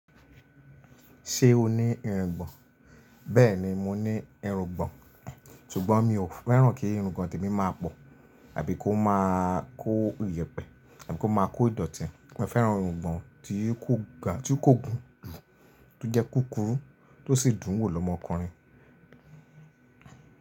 Ṣé o ní irungbọ̀n? Bẹ́ẹ̀ni, mo ní irungbọ̀n, ṣùgbọ́n mi ò fẹ́ràn kí irungbọ̀n tèmi máa pọ̀, àbí kó máa kó iyẹ̀pẹ̀, àbí kó máa kó ìdọ̀tí. Mo fẹ́ràn irungbọ̀n tí kò ga, ti ko gùn jù, tó jẹ́ kúkúrú, tó sì dùn wò lọ́mọkùnrin.